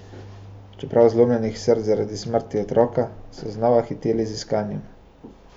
Čeprav zlomljenih src zaradi smrti otroka, so znova hiteli z iskanjem.